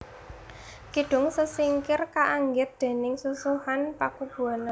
Kidung Sesingir kaanggit déning Susuhunan Paku Buwana